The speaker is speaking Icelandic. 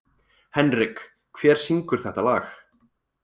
Henrik, hver syngur þetta lag?